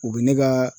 U bɛ ne ka